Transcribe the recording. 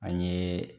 An ye